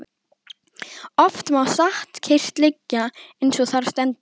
Oft má satt kyrrt liggja eins og þar stendur.